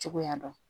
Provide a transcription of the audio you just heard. Cogoya dɔn